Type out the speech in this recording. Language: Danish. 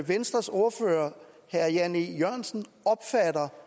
venstres ordfører herre jan e jørgensen opfatter